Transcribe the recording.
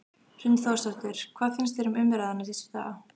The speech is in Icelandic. Hrund Þórsdóttir: Hvað finnst þér um umræðuna síðustu daga?